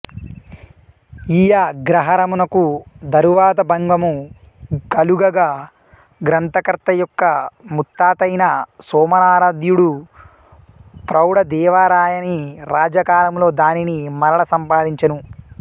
ఈయగ్రహారమునకు దరువాత భంగము కలుగగా గ్రంథకర్తయొక్క ముత్తాతయైన సోమనారాధ్యుడు ప్రౌడదేవరాయని రాజ్యకాలములో దానిని మరల సంపాదించెను